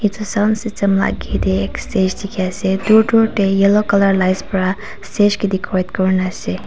etu sound system la age te ek stage dikhi wo pari ase dur dur te yellow colour lights para stage ke decorate kurina ase.